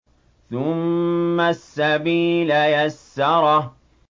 ثُمَّ السَّبِيلَ يَسَّرَهُ